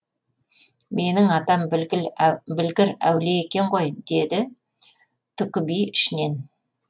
менің атам білгір әулие екен ғой деді түкіби ішінен